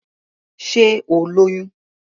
Sé o lóyún?